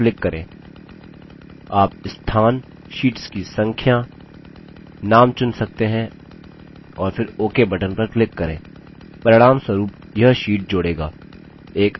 आप स्थान शीट्स की संख्या name चुन सकते हैं और फिर ok button पर click करें परिणामस्वरूप यह sheets जोड़ेगा